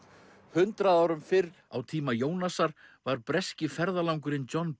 hundrað árum fyrr á tíma Jónasar var breski ferðalangurinn John